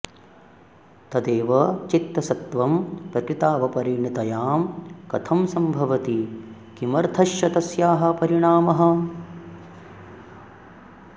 तदेव चित्तसत्त्वं प्रकृतावपरिणतायां कथं सम्भवति किमर्थश्च तस्याः परिणामः